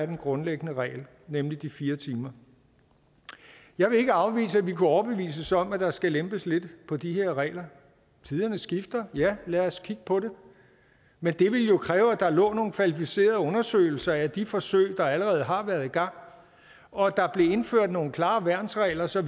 den grundlæggende regel nemlig de fire timer jeg vil ikke afvise at enhedslisten vil kunne overbevises om at der skal lempes lidt på de her regler tiderne skifter ja lad os kigge på det men det vil jo kræve at der nogle kvalificerede undersøgelser af de forsøg der allerede har været sat i gang og at der blev indført nogle klare værnsregler så